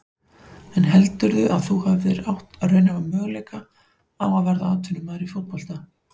En heldurðu að þú hefðir átt raunhæfa möguleika á að verða atvinnumaður í fótbolta?